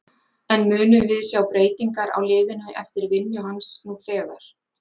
En munum við sjá breytingar á liðinu eftir vinnu hans nú þegar?